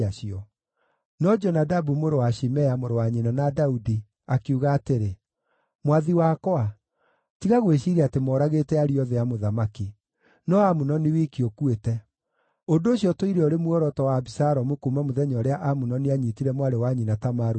No Jonadabu mũrũ wa Shimea, mũrũ wa nyina na Daudi, akiuga atĩrĩ, “Mwathi wakwa, tiga gwĩciiria atĩ moragĩte ariũ othe a mũthamaki; no Amunoni wiki ũkuĩte. Ũndũ ũcio ũtũire ũrĩ muoroto wa Abisalomu kuuma mũthenya ũrĩa Amunoni aanyiitire mwarĩ wa nyina Tamaru na hinya.